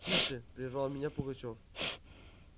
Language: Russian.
тише прервал меня пугачёв